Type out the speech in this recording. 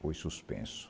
Foi suspenso.